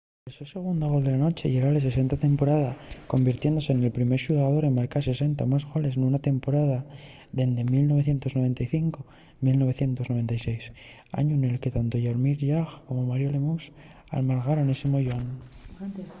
el so segundu gol de la nueche yera’l 60 de la temporada convirtiéndose nel primer xugador en marcar 60 o más goles nuna temporada dende 1995-96 añu nel que tanto jaromir jagr como mario lemieux algamaron esi moyón